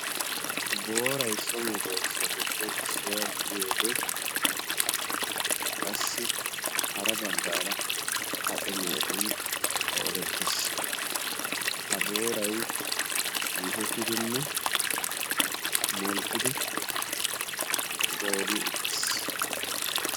Boorayi so medoossatuppe issuwa gidiyode qassi hara baggaara kace mehetun qoodettes. Ha boorayi xiihettidinne modhdhidi goobi uttis.